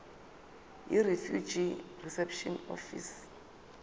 yirefugee reception office